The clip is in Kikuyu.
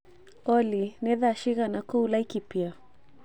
Olly nĩ thaa cigana kũu Laikipia